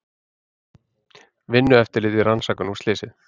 Vinnueftirlitið rannsakar nú slysið